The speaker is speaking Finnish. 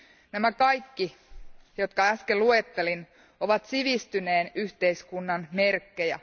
Nämä kaikki, jotka äsken luettelin, ovat sivistyneen yhteiskunnan merkkejä.